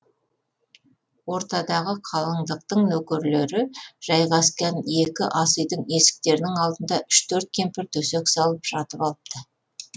ортадағы қалыңдықтың нөкерлері жайғасқан екі ақ үйдің есіктерінің алдына үш төрт кемпір төсек салып жатып алыпты